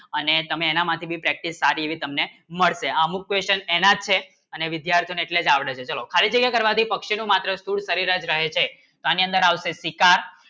અને એના માટે ભી practice સાધે તમને અમુક question એના છે અને વિદ્યાર્થી ને આવડે છે ચાલો ફરીતી મારો પક્ષી ની માત્ર શું કરી રહ્યા છે પાણી અંદર આવશે પિકા